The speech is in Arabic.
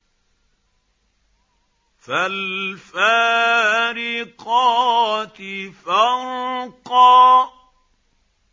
فَالْفَارِقَاتِ فَرْقًا